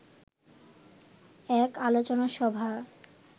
এক আলোচনা সভা